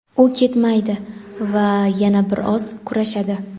u ketmaydi va yana bir oz kurashadi.